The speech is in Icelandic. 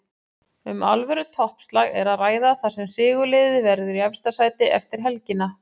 Um alvöru toppslag er að ræða þar sem sigurliðið verður í efsta sæti eftir helgina.